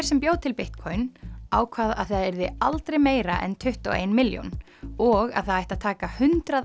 sem bjó til Bitcoin ákvað að það yrði aldrei meira en tuttugu og ein milljón og að það ætti að taka hundrað